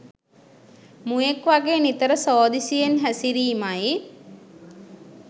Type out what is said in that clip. මුවෙක් වගේ නිතර සෝදිසියෙන් හැසිරීමයි